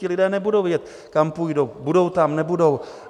Ti lidé nebudou vědět, kam půjdou, budou tam, nebudou?